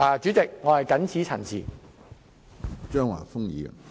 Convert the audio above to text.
主席，我謹此陳辭。